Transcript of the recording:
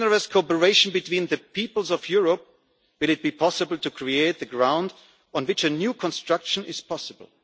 time. Only with generous cooperation between the peoples of Europe will it be possible to create the ground on which a new construction